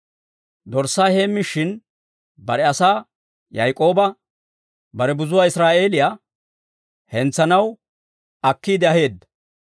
Dorssaa heemmishin, bare asaa Yaak'ooba, bare buzuwaa Israa'eeliyaa hentsanaw akkiide aheedda.